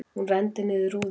Hún renndi niður rúðunni.